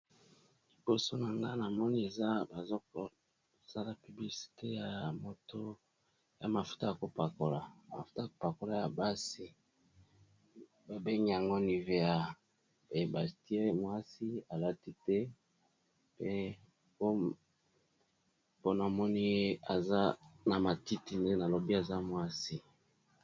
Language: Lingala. Liboso na nga na moni eza bazokosala pubicite ya moto ya mafuta ya kopakola mafuta ya kopakola ya basi babengi yango nivea, pe batie mwasi alati te pe mpona moni ye aza na matiti nde nalobi aza mwasi.